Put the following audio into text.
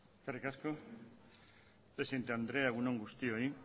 eskerrik asko presidente andrea egun on guztioi